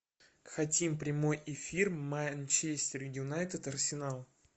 хотим прямой эфир манчестер юнайтед арсенал